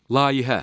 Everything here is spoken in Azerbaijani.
Layihə.